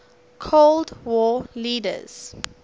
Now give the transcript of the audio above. cold war leaders